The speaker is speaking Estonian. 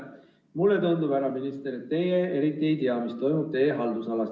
Mulle tundub, härra minister, et teie eriti ei tea, mis toimub teie haldusalas.